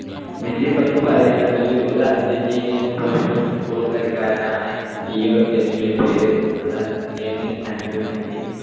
മെസ്സിയെ പറ്റി പറയാണെങ്കിൽ ഒരു അർജന്റീനിയൻ professional football കളിക്കാരനാണ് ലിയോ എന്ന് വിളിപ്പേരു~ള്ള ലിയോണെൽ ആന്ദ്രസ് മെസ്സി.